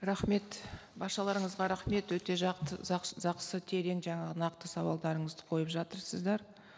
рахмет баршаларыңызға рахмет өте терең жаңағы нақты сауалдарыңызды қойып жатырсыздар